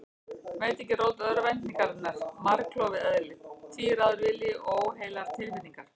Var ekki rót örvæntingarinnar margklofið eðli, tvíráður vilji og óheilar tilfinningar?